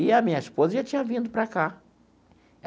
E a minha esposa já tinha vindo para cá.